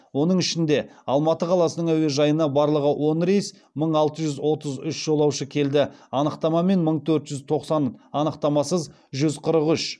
оның ішінде алматы қаласының әуежайына барлығы он рейс мың алты жүз отыз үш жолаушы келді анықтамамен мың төрт жүз тоқсан анықтамасыз жүз қырық үш